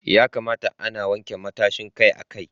Ya kamata ana wanke matashin kai akai-akai.